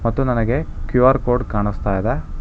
ಮತ್ತು ನನಗೆ Q R code ಕಾಣಿಸ್ತಾ ಇದೆ.